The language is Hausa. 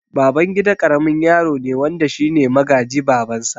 Babangida karamin yaro ne wanda shine magaji babansa